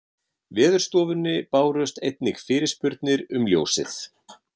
Veðurstofunni bárust einnig fyrirspurnir um ljósið